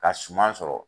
Ka suman sɔrɔ